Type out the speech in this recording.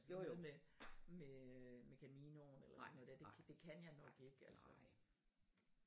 Sådan noget med med øh Caminoen eller sådan noget der det kan jeg nok ikke altså